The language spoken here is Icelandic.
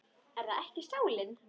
Er það ekki sálin?